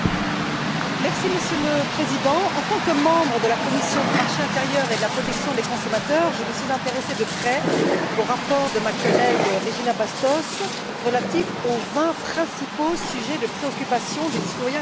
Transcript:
Monsieur le Président, en tant que membre de la commission du marché intérieur et de la protection des consommateurs, je me suis intéressée de près au rapport de ma collègue Regina Bastos relatif aux vingt principaux sujets de préoccupation des citoyens et des entreprises.